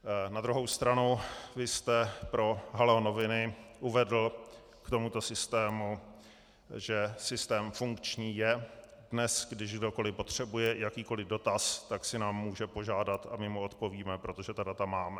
Na druhou stranu, vy jste pro Haló noviny uvedl k tomuto systému, že systém funkční je: "Dnes, kdy kdokoli potřebuje jakýkoli dotaz, tak si nás může požádat a my mu odpovíme, protože ta data máme."